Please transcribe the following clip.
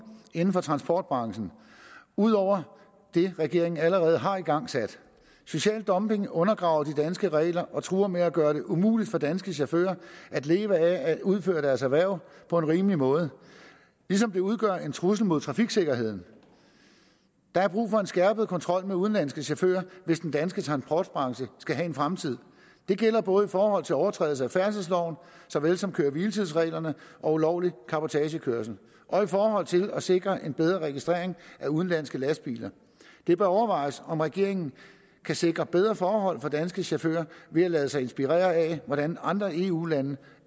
inden for transportbranchen ud over det regeringen allerede har igangsat social dumping undergraver de danske regler og truer med at gøre det umuligt for danske chauffører at leve af at udføre deres erhverv på en rimelig måde ligesom det udgør en trussel imod trafiksikkerheden der er brug for skærpet kontrol med udenlandske chauffører hvis den danske transportbranche skal have en fremtid det gælder både i forhold til overtrædelser af færdselsloven såvel som køre hviletidsreglerne og ulovlig cabotagekørsel og i forhold til at sikre en bedre registrering af udenlandske lastbiler det bør overvejes om regeringen kan sikre bedre forhold for danske chauffører ved at lade sig inspirere af hvordan andre eu lande